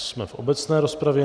Jsme v obecné rozpravě.